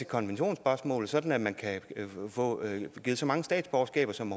konventionsspørgsmål sådan at man kan få givet så mange statsborgerskaber som